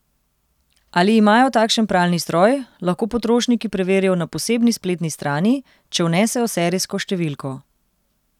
Ali imajo takšen pralni stroj, lahko potrošniki preverijo na posebni spletni strani, če vnesejo serijsko številko.